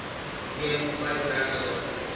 neem vyf werksdae